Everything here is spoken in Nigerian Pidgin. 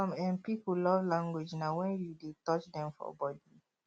some um pipo love language na when you de touch dem for body